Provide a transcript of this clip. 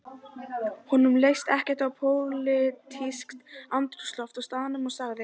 Honum leist ekkert á pólitískt andrúmsloft á staðnum og sagði